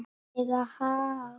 lega hátt.